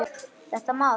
Þetta má ekki.